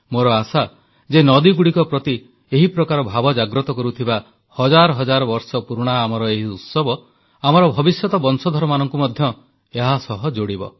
ମୋର ଆଶା ଯେ ନଦୀଗୁଡ଼ିକ ପ୍ରତି ଏହି ପ୍ରକାର ଭାବ ଜାଗ୍ରତ କରୁଥିବା ହଜାର ହଜାର ବର୍ଷ ପୁରୁଣା ଆମର ଏହି ଉତ୍ସବ ଆମର ଭବିଷ୍ୟତ ବଂଶଧରମାନଙ୍କୁ ମଧ୍ୟ ଏହାସହ ଯୋଡ଼ିବ